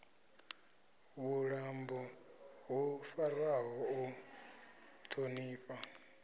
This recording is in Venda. vhuṱambo ho farwaho u ṱhonifha